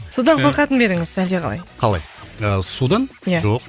судан қорқатын ба едіңіз әлде қалай қалай ы судан иә жоқ